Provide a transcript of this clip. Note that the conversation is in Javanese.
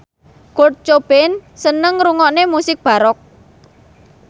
Kurt Cobain seneng ngrungokne musik baroque